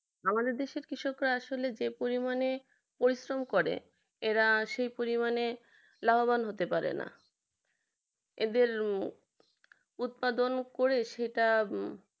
আমাদের দেশের কৃষকরা আসলে যে পরিমাণে পরিশ্রম করে এরা সেই পরিমাণে লাভবান হতে পারে না এদের উৎপাদন করে সেটা